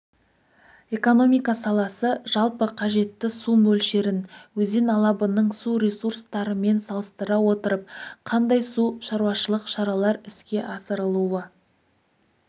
экономика саласы жалпы қажетті су мөлшерін өзен алабының су ресурстарымен салыстыра отырып қандай су шаруашылық шаралар іске асырылуы